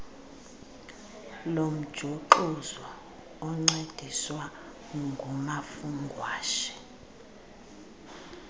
lomjuxuzo encediswa ngumafungwashe